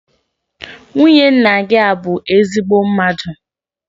Nwunye nna gị a bụ ezigbo mmadụ?